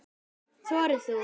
Þorir þú?